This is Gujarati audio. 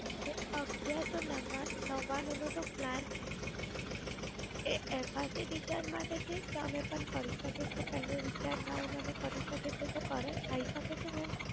ઓકે, અગિયારસો નવ્વાણ નવ્વાણું નો જે Plan છે એ FRCRecharge માટે છે કે અમે પણ કરી શકે છે પેલે Recharge ના હોય ને અમે કરી શકે છીએ ખરા? થાય શકે છે મેમ?